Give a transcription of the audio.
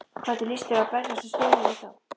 Hvernig lýst þér á að berjast við stöðuna við þá?